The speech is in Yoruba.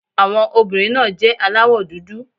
Àwọn obìnrin náà jẹ́ aláwọ̀ dúdú.